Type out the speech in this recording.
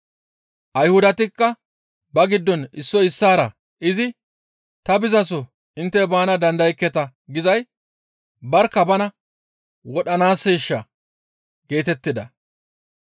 Ayhudatikka ba giddon issoy issaara izi, « ‹Ta bizaso intte baana dandayekketa› gizay barkka bana wodhanaasseeshaa?» geetettida.